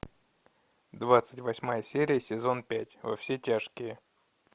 двадцать восьмая серия сезон пять во все тяжкие